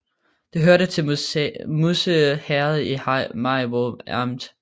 Det hørte til Musse Herred i Maribo Amt